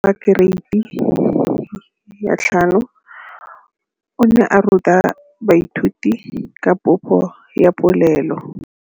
Moratabana wa kereiti ya 5 o ne a ruta baithuti ka popô ya polelô.